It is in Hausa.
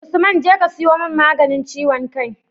Usman jeka ka siyo mun maganin ciwon kai